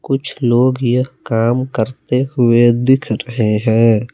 कुछ लोग यह काम करते हुए दिख रहे हैं।